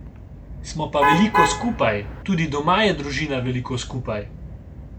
Smo pa veliko skupaj, tudi doma je družina veliko skupaj.